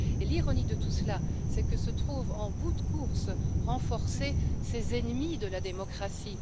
L'ironie de tout cela, c'est que se trouvent, en bout de course, renforcés ces ennemis de la démocratie.